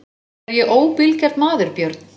Er ég óbilgjarn maður Björn?